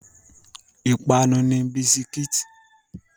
Ìpapánu ni bisikí.